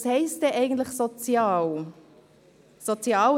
Was heisst denn eigentlich «sozial»?